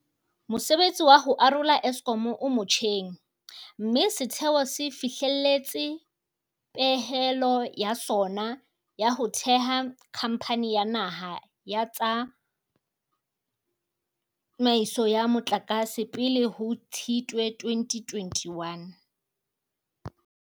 Mosebetsi wa ho arola Eskom o motjheng, mme setheo se fihlelletse pehelo ya sona ya ho theha Khamphani ya Naha ya Tsa maiso ya Motlakase pele ho Tshitwe 2021.